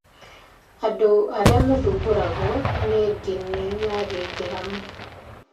Andũ arĩa maathumbũragwo nĩ ndini ya gĩithĩramu